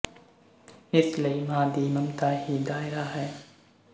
ਇਸ ਲਈ ਮਾਂ ਦੀ ਮਮਤਾ ਹੀ ਦਾਇਰਾ ਹੈ